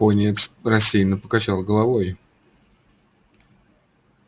пониетс рассеянно покачал головой